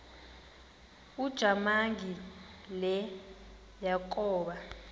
ujamangi le yakoba